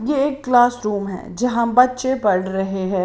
यह क्लासरूम है जहां बच्चे पढ़ रहे हैं।